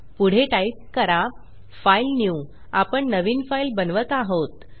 पुढे टाईप करा फाइलन्यू आपण नवीन फाईल बनवत आहोत